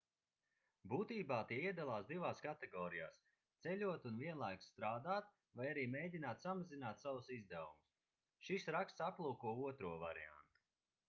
būtībā tie iedalās divās kategorijās ceļot un vienlaikus strādāt vai arī mēģināt samazināt savus izdevumus šis raksts aplūko otro variantu